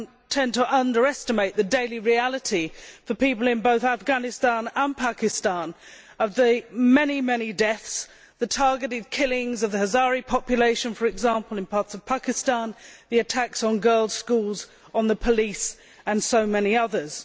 tend to underestimate the daily reality for people in both Afghanistan and Pakistan of the many deaths, the targeted killings of the Hazara population, for example, in parts of Pakistan, the attacks on girls' schools, on the police and so many others.